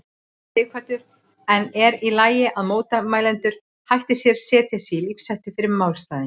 Sighvatur: En er í lagi að mótmælendur hætti sér, setji sig í lífshættu fyrir málstaðinn?